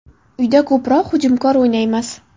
Uyda ko‘proq hujumkor o‘ynaymiz.